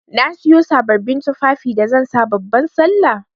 Na Siyo sabbabin tufafi da zan sa babban sallah.